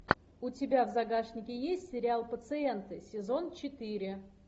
у тебя в загашнике есть сериал пациенты сезон четыре